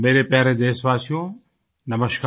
मेरे प्यारे देशवासियो नमस्कार